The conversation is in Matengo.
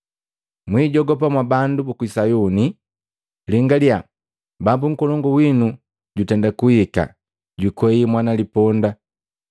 “Mwijogopa mwa bandu buku Sayuni! Lingalya Bambu nkolongu wino jutenda kuhika, jukwei mwana liponda.”